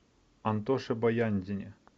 антоше баяндине